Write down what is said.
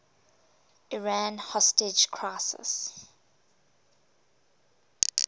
iran hostage crisis